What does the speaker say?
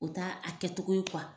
U t'a a kɛcogo ye kuwa!